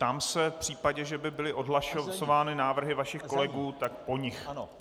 Ptám se, v případě, že by byly odhlasovány návrhy vašich kolegů, tak po nich.